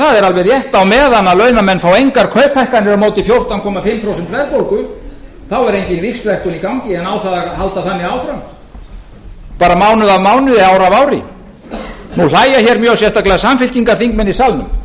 það er alveg rétt að á meðan launamenn fá engar kauphækkanir á móti fjórtán komma fimm prósent verðbólgu þá er engin víxlverkun í gangi en á það að halda þannig áfram mánuð af mánuði og ár af ári nú hlæja hér sérstaklega mjög samfylkingarþingmenn í salnum